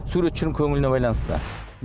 суретшінің көңіліне байланысты